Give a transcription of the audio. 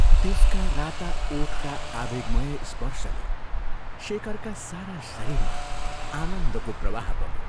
त्यसका राता ओठका आवेगमय स्पर्शले शेखरका सारा शरीरमा आनन्दको प्रवाह बग्यो।